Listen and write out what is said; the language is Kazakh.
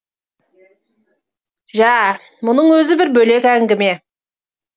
жә бұның өзі бір бөлек әңгіме